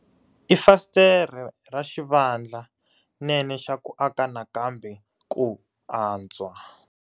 I fasitere ra xivandlanene xa ku aka nakambe ku antswa.